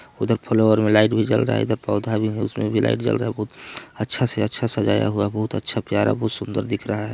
उधर फ्लावर में लाइट भी जल रहा हैं इधर पौधा भी हैं उसमें भी लाइट जल रहा हैं अच्छा से अच्छा सजाया हुआ बोहत अच्छा प्यारा बहुत सुंदर दिख रहा हैं ।